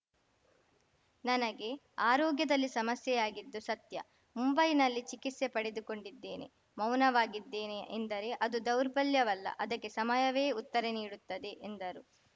ನನಗೆ ಆರೋಗ್ಯದಲ್ಲಿ ಸಮಸ್ಯೆಯಾಗಿದ್ದು ಸತ್ಯ ಮುಂಬೈನಲ್ಲಿ ಚಿಕಿತ್ಸೆ ಪಡೆದುಕೊಂಡಿದ್ದೇನೆ ಮೌನವಾಗಿದ್ದೇನೆ ಎಂದರೆ ಅದು ದೌರ್ಬಲ್ಯವಲ್ಲ ಅದಕ್ಕೆ ಸಮಯವೇ ಉತ್ತರ ನೀಡುತ್ತದೆ ಎಂದರು